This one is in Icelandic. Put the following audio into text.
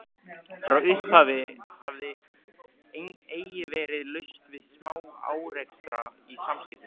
Frá upphafi hafði eigi verið laust við smá-árekstra í samskiptum